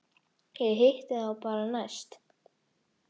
Ég hitti þá bara næst.